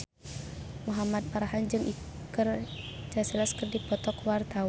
Muhamad Farhan jeung Iker Casillas keur dipoto ku wartawan